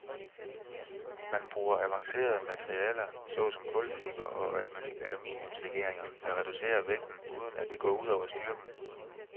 Man bruger avancerede materialer så som kulfiber og aluminiumslegeringer, der reducerer vægten uden at det går ud over styrken.